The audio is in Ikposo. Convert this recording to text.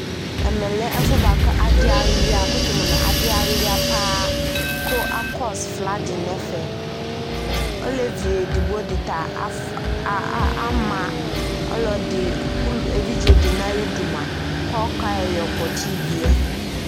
Ɛmɛ lɛ ɛfʋ yɛ bʋa kʋ adɩ alʋɩa, yakʋtʋ mʋ nʋ adɩ alʋɩa paa kʋ akɔs nadɩ nʋ ɛfɛ Olevi edigbo dɩ ta af a a ama ɔlɔdɩ ul evidze dɩ nʋ ayidu mʋa, kʋ ɔkayɔ yɩ yɔkpɔtsɩ ivi yɛ